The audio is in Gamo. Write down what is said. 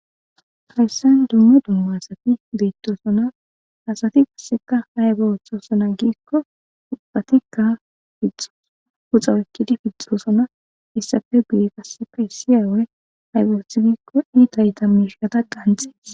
frayssan dummo dumma asati beettosona asati qasseka hayba woththosona giikko ubbatikka fixxos uxa wekkidi fixxosona issafe biye qasseka isiyawey haybaoth giikko iita ita miishata qanxees